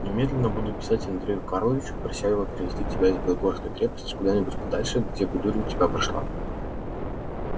немедленно буду писать андрею карловичу прося его перевести тебя из белогорской крепости куда-нибудь подальше где бы дурь у тебя прошла